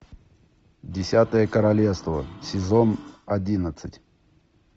десятое королевство сезон одиннадцать